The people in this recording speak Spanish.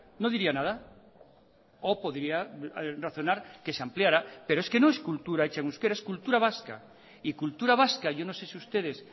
no diría nada o podría razonar que se ampliara pero es que no es cultura hecha en euskera es cultura vasca y cultura vasca yo no sé si ustedes